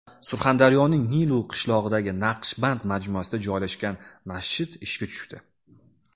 Surxondaryoning Nilu qishlog‘idagi Naqshband majmuasida joylashgan masjid ishga tushdi.